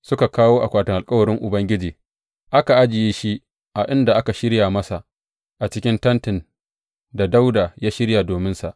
Suka kawo akwatin alkawarin Ubangiji, aka ajiye shi a inda aka shirya masa a cikin tentin da Dawuda ya shirya dominsa.